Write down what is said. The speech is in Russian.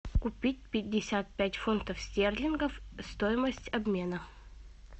купить пятьдесят пять фунтов стерлингов стоимость обмена